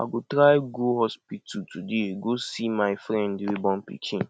i go try go hospital today go see my friend wey born pikin